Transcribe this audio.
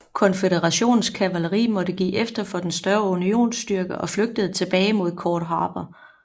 Konføderationens kavaleri måtte give efter for den større unionsstyrke og flygtede tilbage mod Cord Harbor